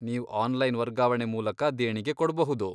ನೀವ್ ಆನ್ಲೈನ್ ವರ್ಗಾವಣೆ ಮೂಲಕ ದೇಣಿಗೆ ಕೊಡ್ಬಹುದು.